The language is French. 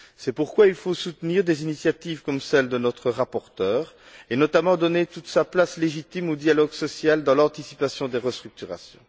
C'est pourquoi il faut soutenir des initiatives comme celles de notre rapporteur et, otamment, donner toute sa place légitime au dialogue social dans l'anticipation des restructurations.